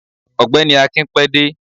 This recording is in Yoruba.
ọgbẹni akín pé dẹ